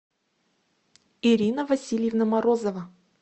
ирина васильевна морозова